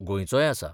गोंयचोय आसा.